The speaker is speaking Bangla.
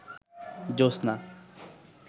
জোছনা